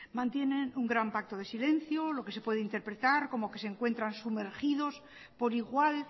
mantienen un gran pacto de silencio lo que se puede interpretar como que se encuentran sumergido por igual